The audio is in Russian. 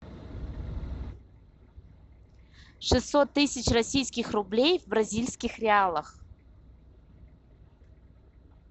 шестьсот тысяч российских рублей в бразильских реалах